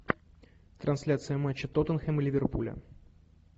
трансляция матча тоттенхэм и ливерпуля